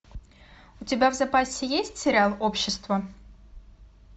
у тебя в запасе есть сериал общество